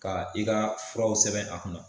Ka i ka furaw sɛbɛn a kunna.